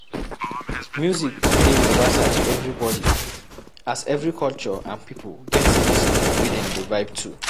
music dey universal to everybody, as every culture and pipo get music wey dem dey vibe to